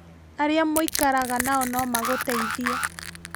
Arĩa mũikaraga nao no magũteithie